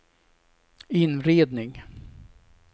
inredning